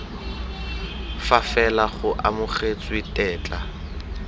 fa fela go amogetswe tetla